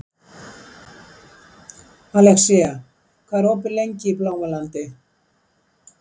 Alexía, hvað er opið lengi í Blómalandi?